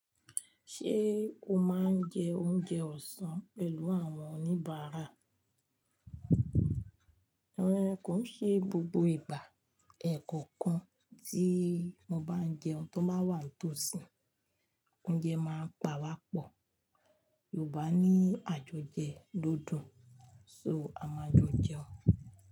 Ṣé o máa ń jẹ oúnjẹ ọ̀sán pẹ̀lú àwọn oníbàárà? Rárá, kò ṣe gbogbo ìgbà. Ẹ̀ẹ̀kọ̀kan tí mo bá ń jẹun tó báa wà ń tò sí i. Oúnjẹ máa ń pa wá pọ̀. Yorùbá ní àjójẹ ló dùn, so a máa jo jẹun.